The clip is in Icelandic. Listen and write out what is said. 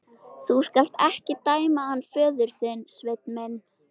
Þú skalt ekki dæma hann föður þinn, Sveinn minn.